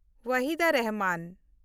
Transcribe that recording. Waheeda Rehman